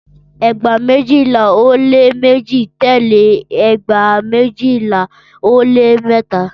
Ẹgba mejila o le meji tẹle ẹgba mejila o le mẹta.